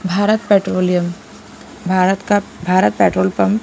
Bharat petroleum Bharat का Bharat petrol pump --